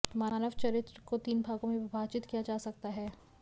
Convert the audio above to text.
मानव चरित्र को तीन भागों में विभाजित किया जा सकता है